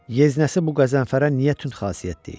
Yeznəsi bu Qəzənfərə niyə tünd xasiyyət deyir?